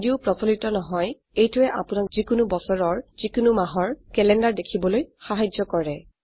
যদিও প্ৰচলিত নহয় এইটোৱে আপোনাক যিকোনো বছৰৰ যিকোনো মাহৰ ক্যালেন্ডাৰ দেখিবলৈ সাহায্য কৰে